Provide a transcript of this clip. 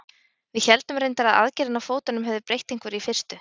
Við héldum reyndar að aðgerðin á fótunum hefði breytt einhverju í fyrstu.